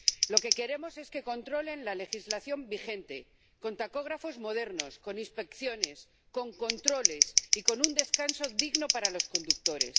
Lo que queremos es que controlen la legislación vigente con tacógrafos modernos, con inspecciones, con controles y con un descanso digno para los conductores.